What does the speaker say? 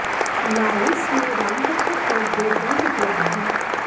Laos में रामकथा पर दो ग्रन्थ उपलब्ध हैं